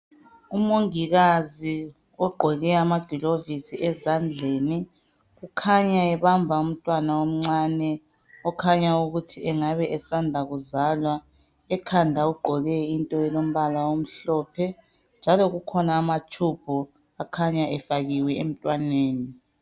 Umongikazi ogqoke amagilovizi ezandleni, kukhanya ebamba umntwana omncane okhanya ukuthi engabe esanda kuzalwa. Ekhanda ugqoke into elombala omhlophe, njalo kukhona amatshubhu akhanya efakiwe emntwaneni.